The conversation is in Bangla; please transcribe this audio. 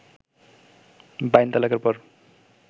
বাইন তালাকের পর